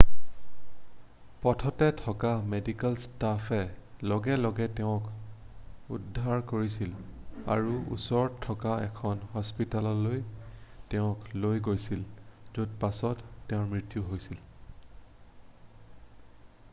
পথতে থকা মেডিকেল ষ্টাফে লগে লগে তেওঁক উদ্ধাৰ কৰিছিল আৰু ওচৰতে থকা এখন হস্পিতাললৈ তেওঁক লৈ গৈছিল য'ত পাছত তেওঁৰ মৃত্যু হৈছিল